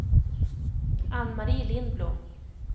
Ann-Marie Lindblom